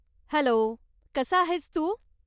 Hello, कसा आहेस तू?